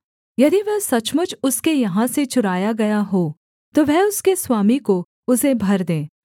यदि वह सचमुच उसके यहाँ से चुराया गया हो तो वह उसके स्वामी को उसे भर दे